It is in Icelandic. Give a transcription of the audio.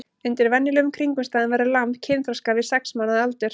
Undir venjulegum kringumstæðum verður lamb kynþroska við sex mánaða aldur.